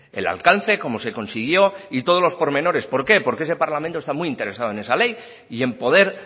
el alcance cómo se consiguió y todos los pormenores por qué porque ese parlamento está muy interesado en esa ley y en poder